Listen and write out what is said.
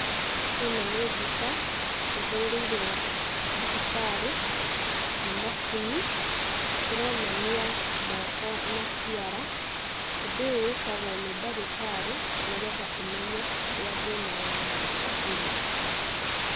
Ĩno nĩ mbica, ihũrĩirwo thibitarĩ, ni macini, ĩronania moko na ciara. Ũndũ ũyũ wĩkagwo nĩ ndagĩtarĩ, nĩgetha amenye harĩa thĩna wa moko ũrĩ